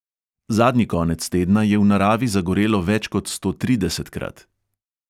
Zadnji konec tedna je v naravi zagorelo več kot stotridesetkrat.